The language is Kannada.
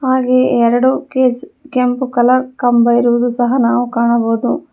ಹಾಗೇ ಎರಡು ಕೇಸ್ ಕೆಂಪು ಕಲರ್ ಕಂಬ ಇರುವುದು ಸಹ ನಾವು ಕಾಣಬಹುದು.